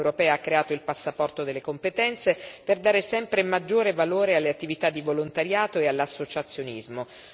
L'Unione europea ha creato il passaporto delle competenze per dare sempre maggiore valore alle attività di volontariato e all'associazionismo.